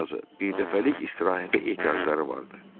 Ən azı birdəfəlik istirahətə ehtiyacları vardı.